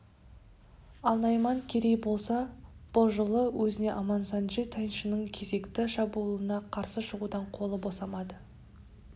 ал найман керей болса бұ жылы өзіне амансанджи тайшының кезекті шабуылына қарсы шығудан қолы босамады